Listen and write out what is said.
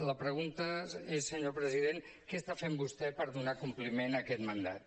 la pregunta és senyor president què està fent vostè per donar compliment a aquest mandat